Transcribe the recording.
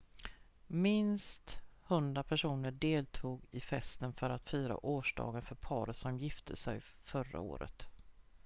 minst 100 personer deltog i festen för att fira årsdagen för paret som gifte sig förra året